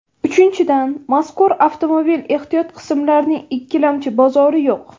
Uchinchidan, mazkur avtomobil ehtiyot qismlarining ikkilamchi bozori yo‘q.